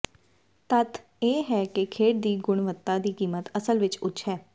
ਤੱਥ ਇਹ ਹੈ ਕਿ ਖੇਡ ਦੀ ਗੁਣਵੱਤਾ ਦੀ ਕੀਮਤ ਅਸਲ ਵਿੱਚ ਉੱਚ ਹੈ